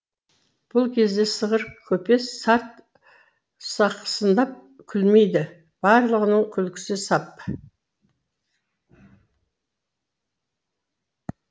бұл кезде сығыр көпес сарт сақсыңдап күлмейді барлығының күлкісі сап